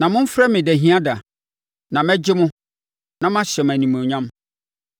na momfrɛ me da hiada; na mɛgye mo na moahyɛ me animuonyam.”